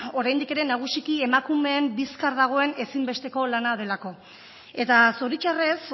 oraindik ere nagusiki emakumeen bizkar dagoen ezinbesteko lana delako eta zoritxarrez